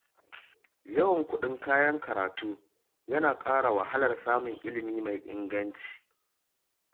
Yawan kuɗin kayan karatu yana ƙara wahalar samun ilimi mai inganci.